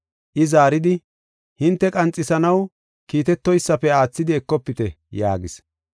I zaaridi, “Hinte qanxisanaw kiitetoysafe aathidi ekofite” yaagis.